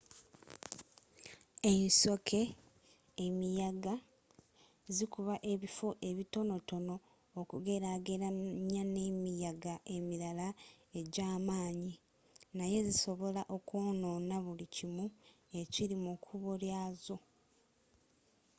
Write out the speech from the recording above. ensoke emiyaga zikuba ekifo ekitonotono okugerageranya n’emiyaga emirala ejj’amaanyi naye zisobola okwoonoona buli kimu ekiri mu kkubo ly’azo